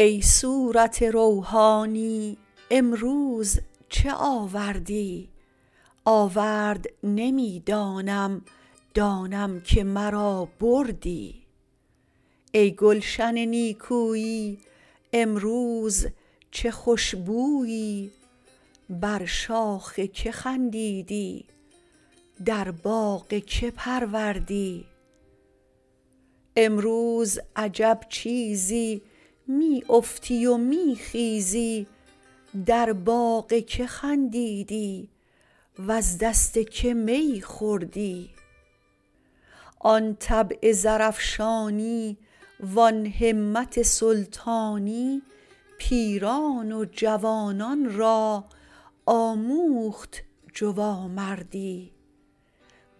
ای صورت روحانی امروز چه آوردی آورد نمی دانم دانم که مرا بردی ای گلشن نیکویی امروز چه خوش بویی بر شاخ کی خندیدی در باغ کی پروردی امروز عجب چیزی می افتی و می خیزی در باغ کی خندیدی وز دست کی می خوردی آن طبع زرافشانی و آن همت سلطانی پیران و جوانان را آموخت جوامردی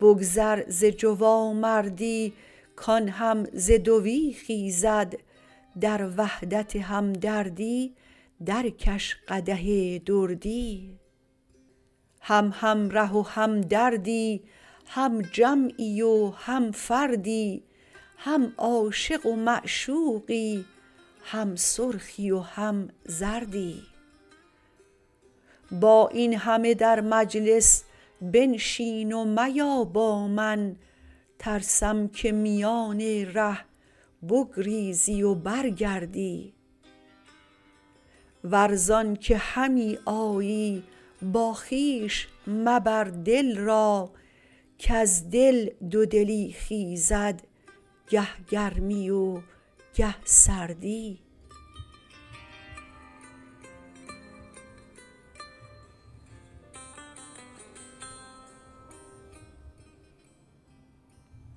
بگذر ز جوامردی کان هم ز دوی خیزد در وحدت همدردی درکش قدح دردی هم همره و همدردی هم جمعی و هم فردی هم عاشق و معشوقی هم سرخی و هم زردی با این همه در مجلس بنشین و میا با من ترسم که میان ره بگریزی و برگردی ور ز آنک همی آیی با خویش مبر دل را کز دل دودلی خیزد گه گرمی و گه سردی